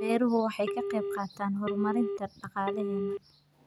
Beeruhu waxa ay ka qayb qaataan horumarinta dhaqaalaheena.